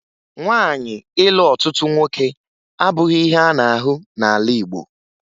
Nwaanyị ịlụ ọtụtụ nwoke abụghị ihe a na-ahụ n'ala Igbo